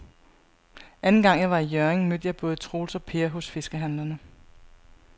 Anden gang jeg var i Hjørring, mødte jeg både Troels og Per hos fiskehandlerne.